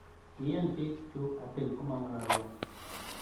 "Kiyan bik chuk atil komangalalwon."